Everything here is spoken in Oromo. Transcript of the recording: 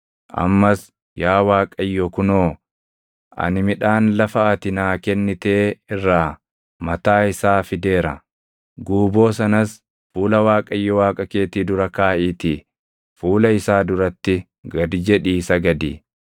ammas yaa Waaqayyo kunoo, ani midhaan lafa ati naa kennitee irraa mataa isaa fideera.” Guuboo sanas fuula Waaqayyo Waaqa keetii dura kaaʼiitii fuula isaa duratti gad jedhii sagadi.